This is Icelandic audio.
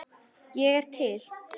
Ég er til.